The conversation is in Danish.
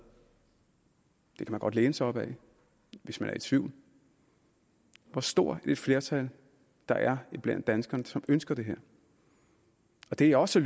og man godt læne sig op af hvis man er i tvivl hvor stort et flertal der er blandt danskerne som ønsker det her det jeg også